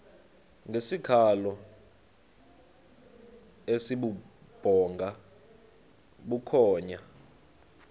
ngesikhalo esibubhonga bukhonya